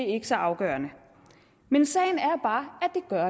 ikke så afgørende men sagen er bare